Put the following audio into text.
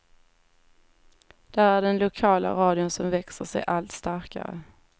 Där är det den lokala radion som växer sig allt starkare.